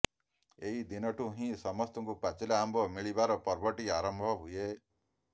ଏଇ ଦିନଠୁ ହିଁ ସମସ୍ତଙ୍କୁ ପାଚିଲା ଆମ୍ବ ମିଳିବାର ପର୍ବଟି ଆରମ୍ଭ ହୁଏ